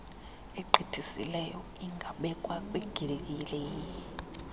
egqithisileyo ingabekwa kwigiyeri